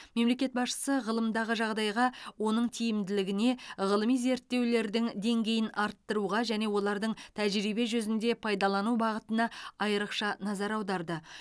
мемлекет басшысы ғылымдағы жағдайға оның тиімділігіне ғылыми зерттеулердің деңгейін арттыруға және олардың тәжірибе жүзінде пайдалану бағытына айрықша назар аударды